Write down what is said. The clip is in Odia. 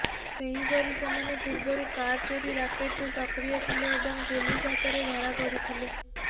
ସେହିପରି ସେମାନେ ପୂର୍ବରୁ କାର ଚୋରି ରାକେଟରେ ସକ୍ରିୟ ଥିଲେ ଏବଂ ପୁଲିସ ହାତରେ ଧରାପଡ଼ିଥିଲେ